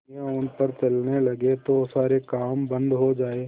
दुनिया उन पर चलने लगे तो सारे काम बन्द हो जाएँ